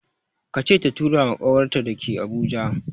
Ka ce ta tura ma ƙawarta da ke Abuja!